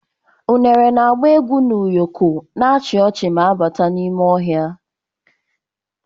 Unere na-agba egwu n'ụyọkọ, na-achị ọchị na-abata n'ime ọhịa.